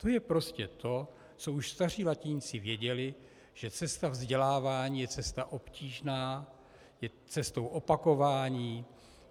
To je prostě to, co už staří latiníci věděli, že cesta vzdělávání je cesta obtížná, je cestou opakování.